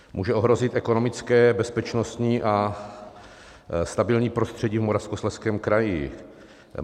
Může ohrozit ekonomické, bezpečnostní a stabilní prostředí v Moravskoslezském kraji.